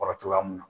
Kɔrɔ cogoya mun na